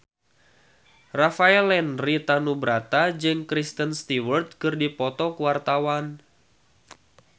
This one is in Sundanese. Rafael Landry Tanubrata jeung Kristen Stewart keur dipoto ku wartawan